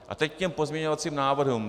A teď k pozměňovacím návrhům.